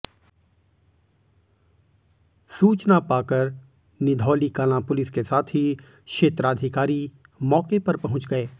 सूचना पाकर निधौलीकलां पुलिस के साथ ही क्षेत्राधिकारी मौके पर पहुंच गए